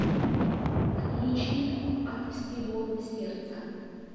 включи от всего сердца